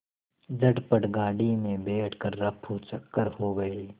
झटपट गाड़ी में बैठ कर ऱफूचक्कर हो गए